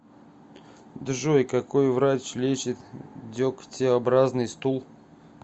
джой какой врач лечит дегтеобразный стул